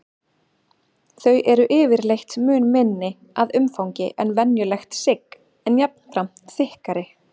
Þau eru yfirleitt mun minni að umfangi en venjulegt sigg en jafnframt þykkari.